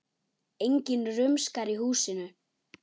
Enginn rumskar í húsinu.